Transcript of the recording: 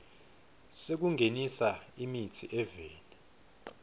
sekungenisa imitsi eveni